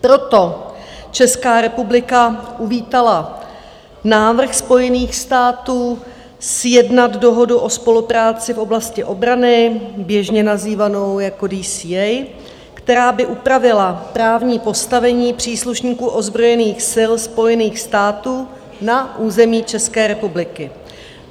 Proto Česká republika uvítala návrh Spojených států sjednat dohodu o spolupráci v oblasti obrany, běžně nazývanou jako DCA, která by upravila právní postavení příslušníků ozbrojených sil Spojených států na území České republiky.